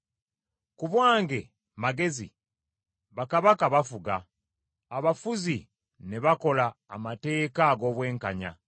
Ku bwange, Magezi, bakabaka bafuga, abafuzi ne bakola amateeka ag’obwenkanya.